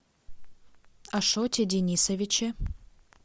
ашоте денисовиче